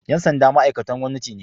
Ƴan sanda ma'aiktan gwamnati ne